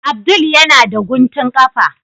Abdul yana da guntun kafa.